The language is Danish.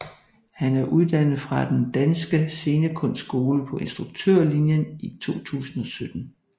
Han er uddannet fra Den Danske Scenekunstskole på instruktørlinjen i 2017